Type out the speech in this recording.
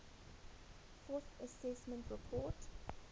fourth assessment report